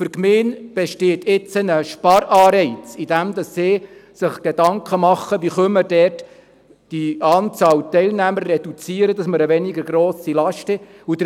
Für die Gemeinde besteht jetzt ein Sparanreiz, indem sie sich Gedanken darüber macht, wie sie die Anzahl der Teilnehmer reduzieren kann, damit sie eine weniger grosse Last hat.